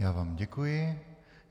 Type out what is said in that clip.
Já vám děkuji.